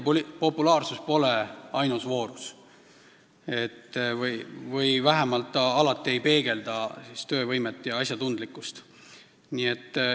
Populaarsus pole ainus voorus, vähemalt ei peegelda see alati töövõimet ja asjatundlikkust.